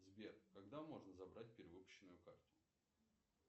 сбер когда можно забрать перевыпущенную карту